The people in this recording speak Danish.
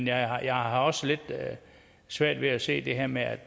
jeg har jeg har også lidt svært ved at se det her med at